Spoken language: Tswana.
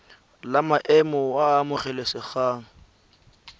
la maemo a a amogelesegang